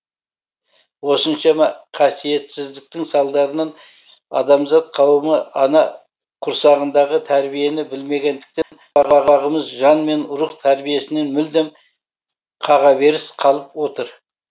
осыншама қасиетсіздіктің салдарынан адамзат қауымы ана құрсағындағы тәрбиені білмегендіктен ұрпағымыз жан мен рух тәрбиесінен мүлдем қағаберіс қалып отыр